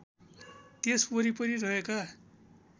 त्यस वरिपरि रहेका